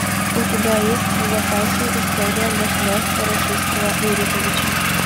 у тебя есть в запасе история государства российского рюриковичи